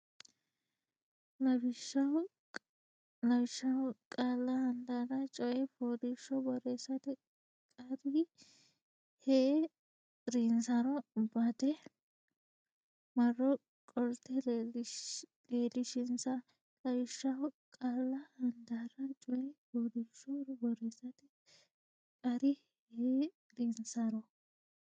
Lawishshaho qaalla handaarra coy fooliishsho borreessate qarri hee rinsaro badde marro qolte leellishinsa Lawishshaho qaalla handaarra coy fooliishsho borreessate qarri hee rinsaro.